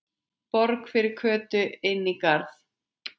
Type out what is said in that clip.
Borg fyrir Kötu inní garði.